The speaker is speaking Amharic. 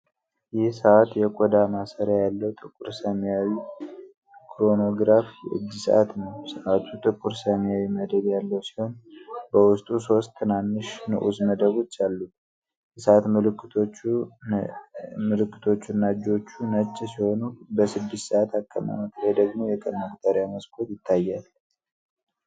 ይህ ሰዓት የቆዳ ማሰሪያ ያለው ጥቁር ሰማያዊ ክሮኖግራፍ የእጅ ሰዓት ነው። ሰዓቱ ጥቁር ሰማያዊ መደብ ያለው ሲሆን፤ በውስጡ ሶስት ትናንሽ ንዑስ መደቦች አሉት። የሰዓት ምልክቶቹ እና እጆች ነጭ ሲሆኑ፤ በ6 ሰዓት አቀማመጥ ላይ ደግሞ የቀን መቁጠሪያ መስኮት ይታያል።